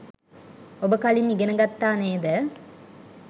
ඔබ කලින් ඉගෙන ගත්තා නේද?